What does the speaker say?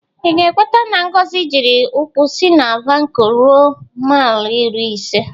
Ị ga-ekwete na Ngozi jiri ụkwụ si na Vanko rue maịl iri ise?